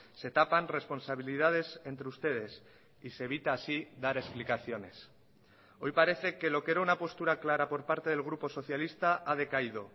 se tapan responsabilidades entre ustedes y se evita así dar explicaciones hoy parece que lo que era una postura clara por parte del grupo socialista ha decaído